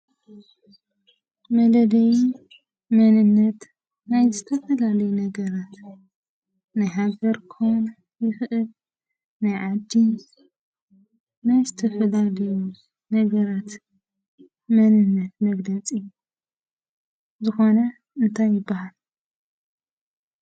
መለለዪ መንነት ናይ ዝተፈላለዩ ናይ ነገራት ናይ ሃገር ክኸውን ይኽእል ፤ ናይ ዓዲ፤ ናይ ዝተፈላለዩ ነገራት መንነት መግለፂ ዝኾነ እንታይ ይበሃል?